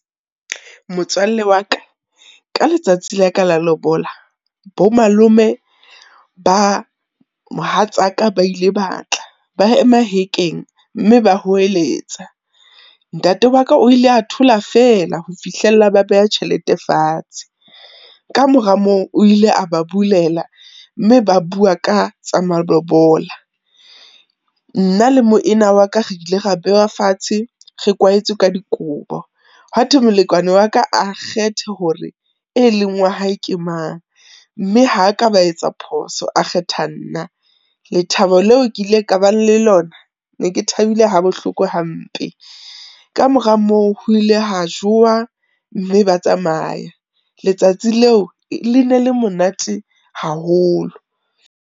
Motswalle wa ka, ka letsatsi la ka la lobola bo malome ba mohatsaka ba ile ba tla, ba ema hekeng mme ba hweletsa. Ntate wa ka o ile a thola feela ho fihlella ba beha tjhelete fatshe. Ka mora moo, o ile a ba bulela mme ba bua ka tsa malobola. Nna le moena wa ka re ile ra bewa fatshe, re kwaetswe ka dikobo, ha thwe molekane wa ka a kgethe hore e leng wa hae ke mang, mme ha ka ba etsa phoso, a kgetha nna. Lethabo leo ke ile ka bang le lona, ne ke thabile ha bohloko hampe. Ka mora moo ho ile ha jowa, mme ba tsamaya. Letsatsi leo le ne le monate haholo.